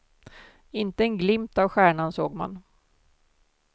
Inte en glimt av stjärnan såg man.